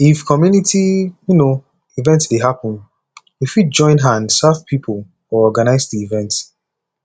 if community um event dey happen we fit join hand serve pipo or organise di event